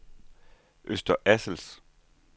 Øster Assels